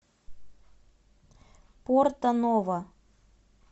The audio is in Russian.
порто ново